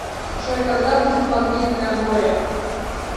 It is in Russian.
джой когда будет магнитная воря